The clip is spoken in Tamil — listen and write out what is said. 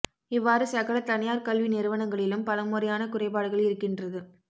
இவ்வாறு சகல தனியார் கல்வி நிறுவனங்களிலும் பலமுறையான குறைபாடுகள் இருக்கின்றது